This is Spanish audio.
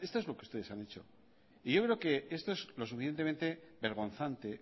esto es lo que ustedes han hecho y yo creo que esto es lo suficientemente vergonzante